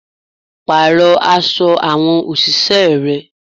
Parọ aṣọ àwọn òṣìṣẹ́ rẹ.